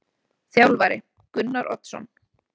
Þjálfari: Gunnar Oddsson.